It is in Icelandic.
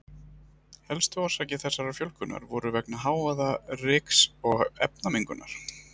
Helstu orsakir þessarar fjölgunar voru vegna hávaða-, ryks- og efnamengunar.